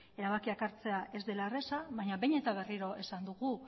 erabakiak hartzea ez dela erraza baina behin eta berriro esan dugu